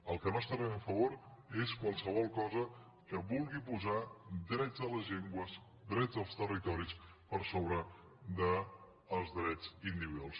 del que no estarem a favor és de qualsevol cosa que vulgui posar drets de les llengües drets dels territoris per sobre dels drets individuals